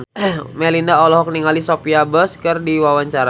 Melinda olohok ningali Sophia Bush keur diwawancara